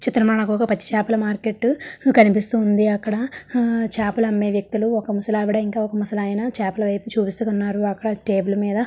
ఈ చిత్రం లో మనకు ఒక పచ్చి చేపల మార్కెట్ కనిపిస్తూ ఉంది. హు అక్కడ హు చాపలు అమ్మే వ్యక్తులు ఒక ముసలావిడ ఒక ముసలాయన చేపల వైపు చూపిస్తూ ఉన్నారు. అక్కడ టేబుల్ మీద--